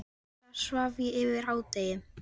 Um helgar svaf ég fram yfir hádegi.